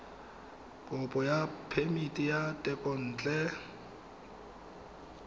kopo ya phemiti ya thekontle